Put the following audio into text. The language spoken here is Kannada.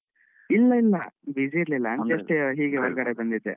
ಇಲ್ಲ ಇಲ್ಲ busy ಇರ್ಲಿಲ್ಲ just ಹೀಗೆ ಹೊರಗಡೆ ಬಂದಿದ್ದೆ.